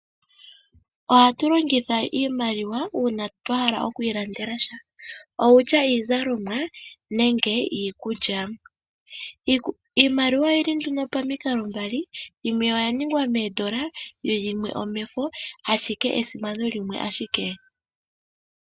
Ohatu longitha iimaliwa uuna twa hala okwiilandela sha kutya iizalomwa nenge iikulya. Iimaliwa oyili nduno pamikalo mbali, yimwe oya ningwa moondola/iikukutu yimwe omomafo ashike esimano limwe ashike.